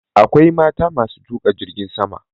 Akwai mata ma su tuƙa jirgin sama.